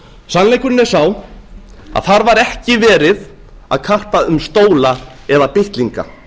sannleikurinn er sá að þar var ekki verið að karpa um stóla eða bitlinga